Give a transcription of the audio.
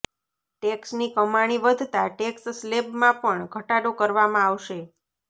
ટેક્સની કમાણી વધતા ટેક્સ સ્લેબમાં પણ ઘટાડો કરવામાં આવશે